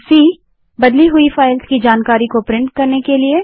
cबदली हुई फ़ाइल्स की जानकारी को प्रिंट करने के लिए